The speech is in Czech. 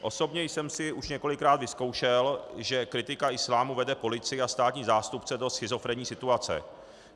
Osobně jsem si už několikrát vyzkoušel, že kritika islámu vede policii a státní zástupce do schizofrenní situace.